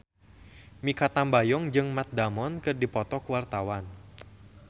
Mikha Tambayong jeung Matt Damon keur dipoto ku wartawan